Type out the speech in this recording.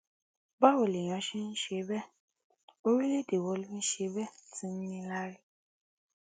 báwo lèèyàn ṣe ń ṣe bẹ́ẹ̀ orílẹ̀ èdè wo ló ń ṣe bẹ́ẹ̀ tí í níláárí